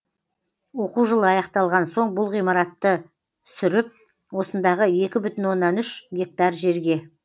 оқу жылы аяқталған соң бұл ғимаратты сүріп осындағы екі бүтін оннан үш гектар жерге